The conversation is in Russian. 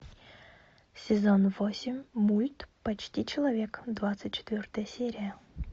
сезон восемь мульт почти человек двадцать четвертая серия